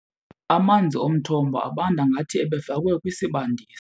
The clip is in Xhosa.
Amanzi omthombo abanda ngathi ebefakwe kwisibandisi.